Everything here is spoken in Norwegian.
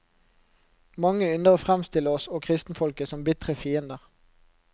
Mange ynder å fremstille oss og kristenfolket som bitre fiender.